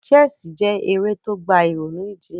Chess je eré to gba ìrònú jinlẹ̀